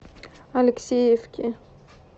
алексеевки